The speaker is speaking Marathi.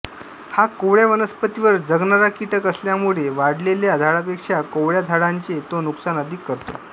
हा कोवळ्या वनस्पतींवर जगणारा कीटक असल्यामुळेवाढलेल्या झाडांपेक्षा कोवळ्या झाडांचे तो नुकसान अधिक करतो